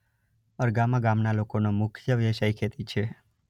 અરગામા ગામના લોકોનો મુખ્ય વ્યવસાય ખેતી છે.